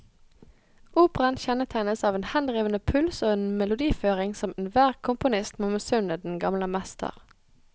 Operaen kjennetegnes av en henrivende puls og en melodiføring som enhver komponist må misunne den gamle mester.